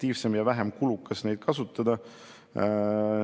Juba mitmendat korda lühikese aja jooksul tulen siia ja ütlen, et on kurb meel.